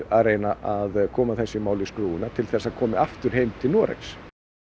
að reyna að koma þessu máli í skrúfuna til þess að það komi aftur heim til Noregs